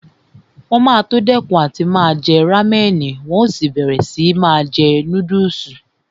Wọn máa tó dẹ́kun àti máa jẹ rámẹ̀nì tí wọn ó sì máa jẹ núdùsì